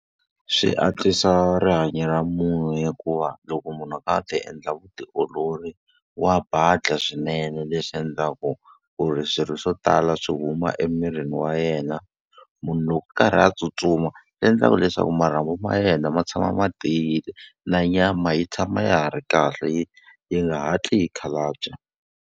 Swi antswisa rihanyo ra munhu hikuva loko munhu a ti endla vutiolori, wa badla swinene leswi endlaku ku ri swilo swo tala swi huma emirini wa yena. Munhu loko a karhi a tsutsuma swi endlaka leswaku marhambu ma yena ma tshama ma tiyile, na nyama yi tshama ya ha ri kahle yi yi nga hatli yi khalabya.